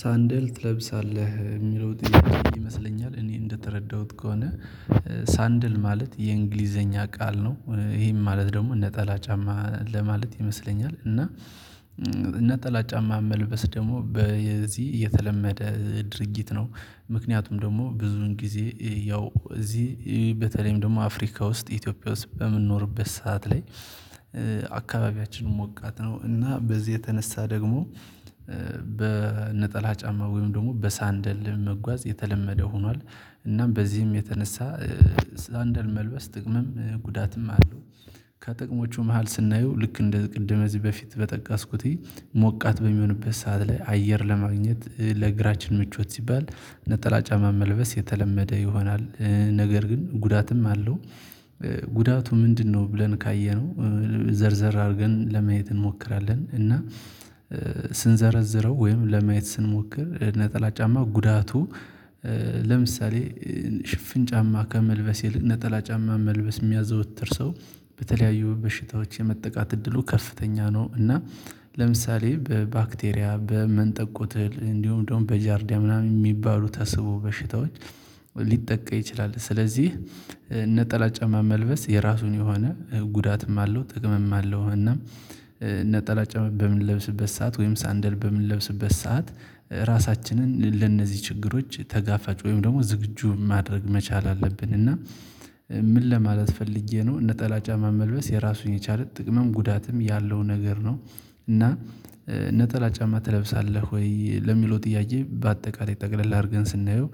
ሳንድል ትለብሳለህ የሚለው ይመስለኛል እኔ እንደተረዳሁት ከሆነ ሳንድል ማለት የእንግሊዘኛ ቃል ነው። ይሄን ማለት ደግሞ ነጠላ ጫማ ለማለት ይመስለኛል እና። ጠላት ጫማ መልበስ ደግሞ በዚህ እየተለመደ ድርጊት ነው። ምክንያቱም ደግሞ ብዙን ጊዜ ያው እዚህ በተለይም ደግሞ አፍሪካ ውስጥ ኢትዮጵያ ውስጥ በምንኖርበት ሰዓት ላይ አካባቢያችንን ሞቃት ነው እና በዚህ የተነሳ ደግሞ በነጠላ ጫማ ወይም ደግሞ በሳንደል መጓዝ የተለመደ ሆኗል። እናም በዚህም የተነሳ ሳንደል መልበስ ጥቅምም ጉዳትም አለው። ከጥቅሞቹ መሃል ስናየው ልክ እንደ ቅድም እዚህ በፊት በጠቀስኩተይ ሞቃት በሚሆንበት ሰዓት ላይ አየር ለማግኘት ለግራችን ምቾት ሲባል ነጠላ ጫማ መልበስ የተለመደ ይሆናል። ነገር ግን ጉዳትም አለው። ጉዳቱ ምንድነው ብለን ካየነው ዘርዘር አድርገን ለማየት እንሞክራለን። እና ስንዘረዝረው ወይም ለማየት ስንሞክር ነጠላ ጫማ ጉዳቱ። ለምሳሌ ሽፍን ጫማ ከመልበስ ይልቅ ነጠላ ጫማ መልበስ የሚያዘወትር ሰው በተለያዩ በሽታዎች የመጠቃት እድሉ ከፍተኛ ነው። እና ለምሳሌ በባክቴሪያ በመንጠቆት እንዲሁም ደግሞ በጃርዲያ ምናምን የሚባሉ ተስቦ በሽታዎች ሊጠቃ ይችላል። ስለዚህ ነጠላ ጫማ መልበስ የራሱን የሆነ ጉዳትም አለው ጥቅምም አለው። እና ነጠላ ጫማ በምንለብስበት ሰዓት ወይም ሳንደል በምንለብስበት ሰዓት ራሳችንን ለእነዚህ ችግሮች ተጋፋጭ ወይም ደግሞ ዝግጁ ማድረግ መቻል አለብን። እና ምን ለማለት ፈልጌ ነው ነጠላ ጫማ መልበስ የራሱን የቻለ ጥቅምም ጉዳትም ያለው ነገር ነው። እና ነጠላ ጫማ ትለብሳለህ ወይ ለሚለው ጥያቄ? በአጠቃላይ ጠቅለል አድርገን ስናየው